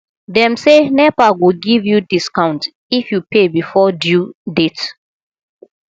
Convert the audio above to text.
dem say nepa go give you discount if you pay before due date